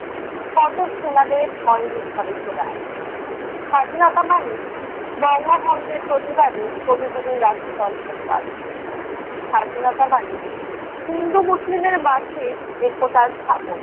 কত সেনাদের হয়নি ঘরে ফেরা, স্বাধীনতা মানে বঙ্গভঙ্গের প্রতিবাদে কবিগুরু রাখী মন্থন পালন, স্বাধীনতা মানে হিন্দু মুসলিমের মাঝে একতা স্থাপন।